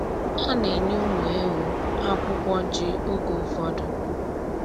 A na-enye ụmụ ewu akwụkwọ ji oge ụfọdụ.